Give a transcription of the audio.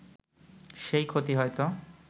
সেই ক্ষতি হয়ত